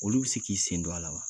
Olu bɛ se k'i sen don a la wa?